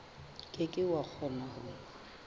ke ke wa kgona ho